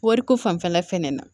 Wariko fanfɛla fɛnɛ na